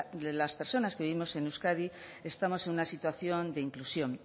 de las personas que vivimos en euskadi estamos en una situación de inclusión